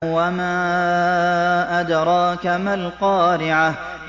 وَمَا أَدْرَاكَ مَا الْقَارِعَةُ